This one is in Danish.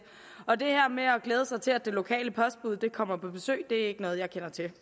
og det her med at glæde sig til at det lokale postbud kommer på besøg er ikke noget jeg kender til